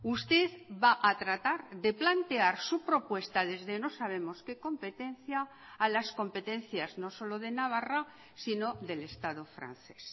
usted va a tratar de plantear su propuesta desde no sabemos qué competencia a las competencias no solo de navarra sino del estado francés